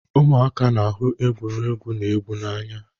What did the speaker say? Ụmụaka na-ahụ egwuregwu na egwu n'anya